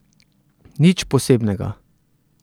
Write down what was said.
Nič posebnega.